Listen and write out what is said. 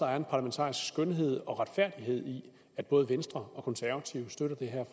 er en parlamentarisk skønhed og retfærdighed i at både venstre og konservative støtter det her